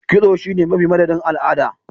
Kitso sune mafi m madadin al'ada